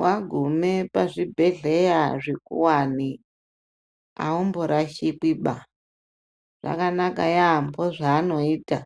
Wagume pa zvibhedhleya zvikuwani aumbo rashikwi ba zvakanaka yambo zvanoita